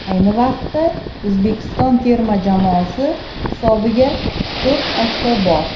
Ayni vaqtda O‘zbekiston terma jamoasi hisobida to‘rt ochko bor.